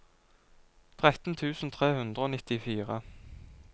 tretten tusen tre hundre og nittifire